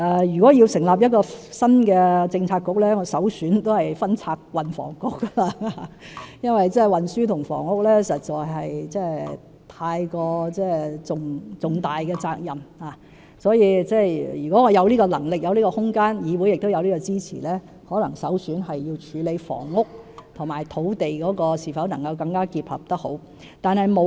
如果要成立新的政策局，我的首選仍是分拆運輸及房屋局，因為運輸及房屋實在是很重大的責任，如果我有這個能力和空間，而議會也給予支持，我的首選可能是要處理房屋及土地能否結合得更好。